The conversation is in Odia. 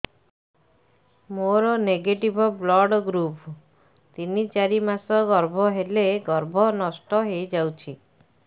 ମୋର ନେଗେଟିଭ ବ୍ଲଡ଼ ଗ୍ରୁପ ତିନ ଚାରି ମାସ ଗର୍ଭ ହେଲେ ଗର୍ଭ ନଷ୍ଟ ହେଇଯାଉଛି